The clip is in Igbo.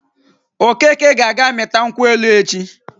Okeke ga-aga mịta nkwụ elu echi.